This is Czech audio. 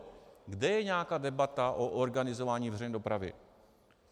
Kde je nějaká debata o organizování veřejné dopravy?